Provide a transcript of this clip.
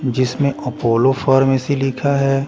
जिसमें Apollo pharmacy लिखा हैं ।